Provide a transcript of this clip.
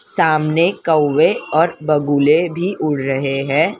सामने कउऐ और बगुले भी उड़ रहे हैं।